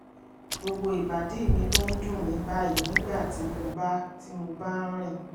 gbogbo ìbàdí mi ló ń dùn mí báyìí nígbà tí mo bá tí mo bá ń rìn